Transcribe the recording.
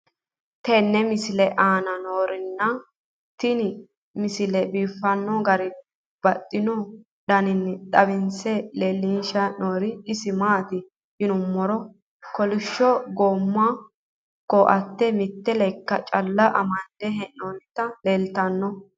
tenne misile aana noorina tini misile biiffanno garinni babaxxinno daniinni xawisse leelishanori isi maati yinummoro kolishsho goomamo koatte mitte lekka calla amande hee'noonnitti leelittanno